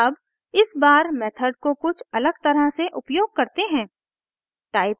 अब इस बार मेथड को कुछ अलग तरह से उपयोग करते हैं